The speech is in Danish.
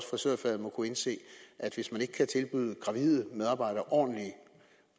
frisørfaget må kunne indse at hvis man ikke kan tilbyde gravide medarbejdere ordentlige